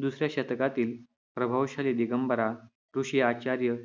दुसऱ्या शतकातील प्रभावशाली दिगंबरा ऋषी आचार्य